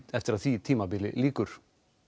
eftir að því tímabili lýkur